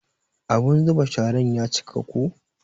Abun zuba sharan ya cika ko.